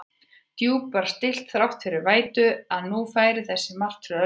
Djúpið var stillt þrátt fyrir vætuna, að nú færi þessari martröð að ljúka.